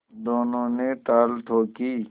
दोनों ने ताल ठोंकी